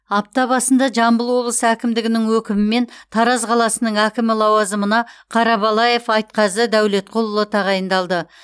апта басында жамбыл облысы әкімдігінің өкімімен тараз қаласының әкімі лауазымына қарабалаев айтқазы дәулетқұлұлы тағайындалды